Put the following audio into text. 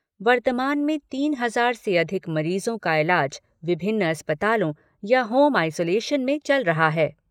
वर्तमान में तीन हजार से अधिक मरीजों का इलाज विभिन्न अस्पतालों या होम आइसोलेशन में चल रहा है।